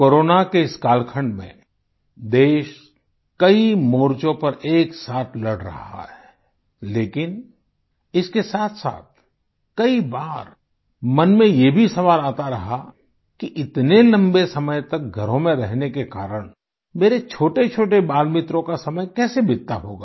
corona के इस कालखंड में देश कई मोर्चों पर एक साथ लड़ रहा है लेकिन इसके साथसाथ कई बार मन में ये भी सवाल आता रहा कि इतने लम्बे समय तक घरों में रहने के कारण मेरे छोटेछोटे बालमित्रों का समय कैसे बीतता होगा